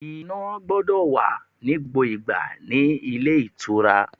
Iná gbọ́dọ̀ wà ní gbogbo ìgbà nílé ìtura.